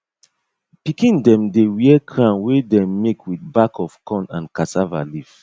pikin dem dey wear crown wey dem make with back of corn and cassava leaf